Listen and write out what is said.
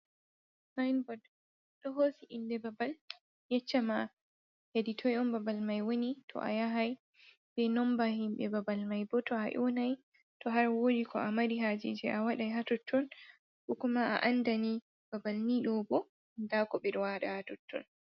Sain bord ɗo hosi inde babal, yeccama hedi toi'on babal mai woni, to a yahai bei nomba himɓe babal mai bo to a yownai to har wodi ko a mari hajije a wadai ha totton, ko kuma a andani babal ni ɗobo nda ko ɓe waɗa ha totton.